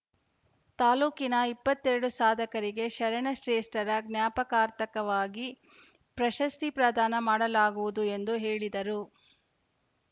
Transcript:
ತಾಲೂಕಿನ ಇಪ್ಪತ್ತ್ ಎರಡು ಸಾಧಕರಿಗೆ ಶರಣ ಶ್ರೇಷ್ಟರ ಜ್ಞಾಪಕಾರ್ಥಕವಾಗಿ ಪ್ರಶಸ್ತಿ ಪ್ರದಾನ ಮಾಡಲಾಗುವುದು ಎಂದು ಹೇಳಿದರು